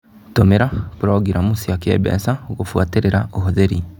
Tũmĩra purongiramu cia kĩmbeca gũbuatĩrĩra ũhũthĩri.